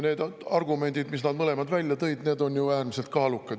Need argumendid, mis nad mõlemad välja tõid, on ju äärmiselt kaalukad.